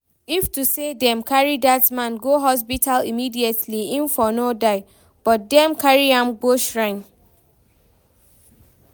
If to say dem carry dat man go hospital immediately im for no die, but dem carry am go shrine